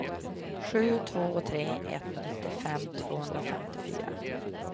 sju två tre ett nittiofem tvåhundrafemtiofyra